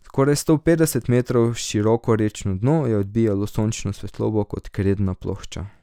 Skoraj sto petdeset metrov široko rečno dno je odbijalo sončno svetlobo kot kredna plošča.